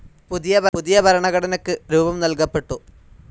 പുതിയ ഭരണഘടനയ്ക്ക് രൂപം നൽകപ്പെട്ടു.